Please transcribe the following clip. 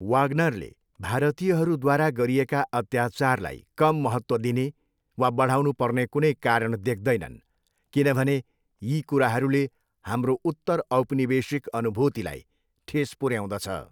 वाग्नरले भारतीयहरूद्वारा गरिएका अत्याचारलाई कम महत्त्व दिने वा बढाउनुपर्ने कुनै कारण देख्दैनन् किनभने यी कुराहरूले हाम्रो उत्तर औपनिवेशिक अनुभूतिलाई ठेस पुऱ्याउँदछ।